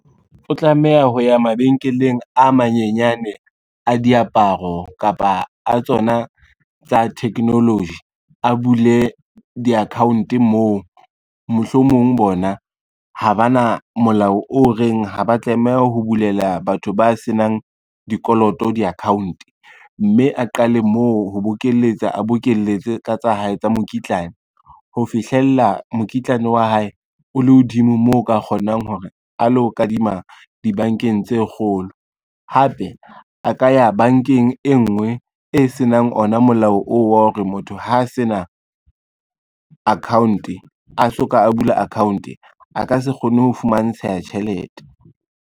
O tlameha ho ya mabenkeleng a manyenyane, a diaparo kapa a tsona tsa technology, a bule di-account moo mohlomong bona ha bana molao o reng ha ba tlameha ho bulela batho ba senang dikoloto di-account, mme a qale moo ho bokelletsa a bokeletse ka tsa hae tsa mokitlane ho fihlella mokitlane wa hae o le hodimo moo o ka kgonang hore a lo kadima dibankeng tse kgolo. Hape a ka ya bankeng e ngwe e senang ona molao oo wa hore motho ha a so ka a bula account a ka se kgone ho fumantsheha tjhelete.